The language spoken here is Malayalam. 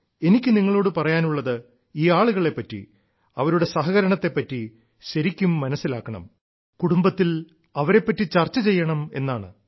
എനിക്കു നിങ്ങളോട് പറയാനുള്ളത് ഈ ആളുകളെപ്പറ്റി അവരുടെ സഹകരണത്തെപ്പറ്റി ശരിക്കും മനസ്സിലാക്കണം കുടുംബത്തിൽ അവരെപ്പറ്റി ചർച്ച ചെയ്യണം എന്നാണ്